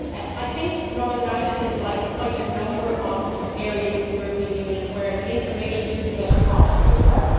I think Northern Ireland is like quite a number of areas of the European Union where the information did not get across really well.